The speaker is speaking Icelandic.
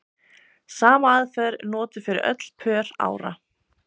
Sama aðferð er notuð fyrir öll pör ára.